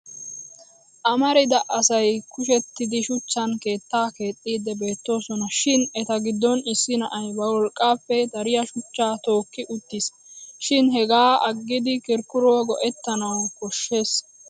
Amarida asay kushettidi shuchchan keettaa keexxiiddi beettoosona. Shin eta giddon issi na'ay ba worqqaappe dariya shuchchaa tooki uttiis shin hegaa aggidi kirkkuriyaa go'ettanawu koshshes.